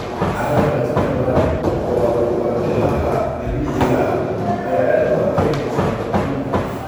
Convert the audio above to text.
Carrada leh qadar badan oo ah walxaha dabiiciga ah ayaa aad u adkeysanaya nabaad guurka.